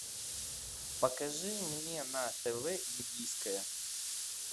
покажи мне на тв индийское